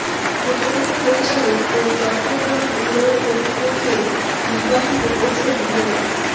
প্রকল্প পরিচালক ও চট্টগ্রাম উন্নয়ন কর্তৃপক্ষের নির্বাহী প্রকৌশলী মো